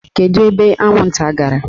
Kedu ebe anwụnta gara?